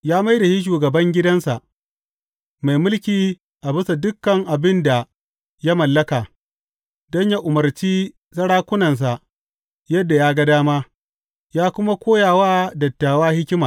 Ya mai da shi shugaban gidansa, mai mulki a bisa dukan abin da ya mallaka, don yă umarci sarakunansa yadda ya ga dama yă kuma koya wa dattawa hikima.